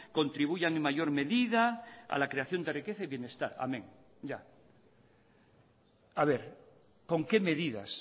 contribuyan en mayor medida a la creación de riqueza y bienestar amén ya a ver con qué medidas